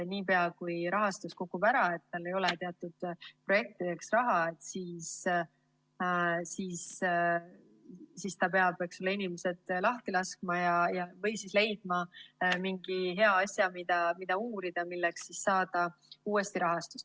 Niipea kui rahastus kukub ära ja tal ei ole teatud projektideks raha, siis ta peab inimesed lahti laskma või leidma mingi hea asja, mida uurida, milleks on võimalik saada uuesti rahastust.